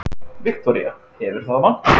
Viktoría: Hefur það vantað?